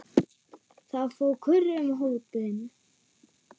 Það fór kurr um hópinn.